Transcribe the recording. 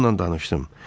Onnan danışdım.